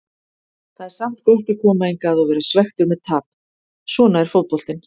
Það er samt gott að koma hingað og vera svekktur með tap, svona er fótboltinn.